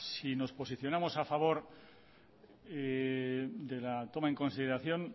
si nos posicionamos a favor de la toma en consideración